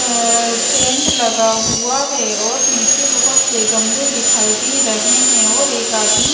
अ tent लगा हुआ है और नीचे बहोत से गमले दिखाई दे रहे हैं और एक आदमी--